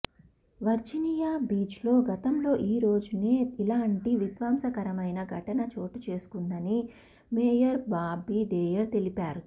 Virginia బీచ్లో గతంలో ఈ రోజునే ఇలాంటి విధ్వంసకరమైన ఘటన చోటుచేసుకుందని మేయర్ బాబీ డేయర్ తెలిపారు